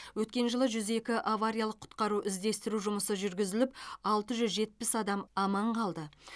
өткен жылы жүз екі авариялық құтқару іздестіру жұмысы жүргізіліп алты жүз жетпіс адам аман қалды